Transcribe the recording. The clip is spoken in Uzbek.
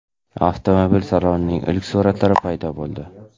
Avtomobil salonining ilk suratlari paydo bo‘ldi.